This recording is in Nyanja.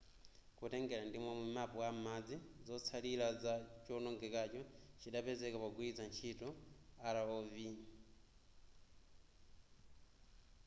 kutengera ndimomwe map a m'madzi zotsallira za chowonongekacho chidapezeka pogwilitsa ntchito rov